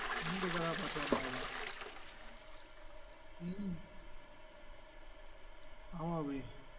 மூன்று கதாபாத்திரமாகவா என் ஆமா அபி